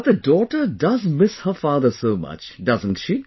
But the daughter does miss her father so much, doesn't she